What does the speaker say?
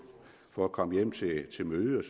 for at komme hjem til til møde